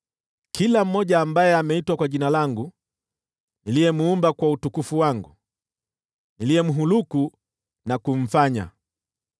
kila mmoja ambaye ameitwa kwa Jina langu, niliyemuumba kwa utukufu wangu, niliyemhuluku na kumfanya.”